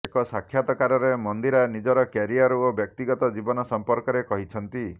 ଏକ ସାକ୍ଷାତାକାରରେ ମନ୍ଦିରା ନିଜର କ୍ୟାରିୟର ଓ ବ୍ୟକ୍ତିଗତ ଜୀବନ ସଂପର୍କରେ କହିଛନ୍ତି